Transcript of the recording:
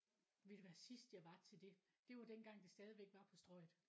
Ved du hvad sidst jeg var til det det var dengang det stadigvæk var på strøget